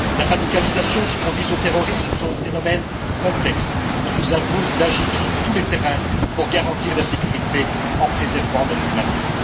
La radicalisation qui conduit au terrorisme est un phénomène complexe qui nous impose d'agir sur tous les terrains pour garantir la sécurité en préservant notre humanisme.